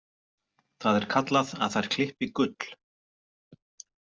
Það er kallað að þær klippi gull.